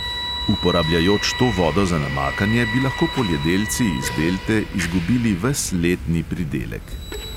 Uporabljajoč to vodo za namakanje, bi lahko poljedelci iz delte izgubili ves letni pridelek.